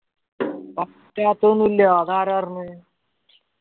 പറ്റാത്ത ഒന്നു ഇല്ലാ അതാരാ പറഞ്ഞേ